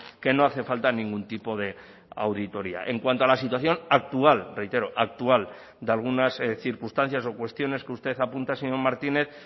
que no hace falta ningún tipo de auditoria en cuanto a la situación actual reitero actual de algunas circunstancias o cuestiones que usted apunta señor martínez